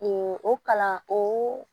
o kalan o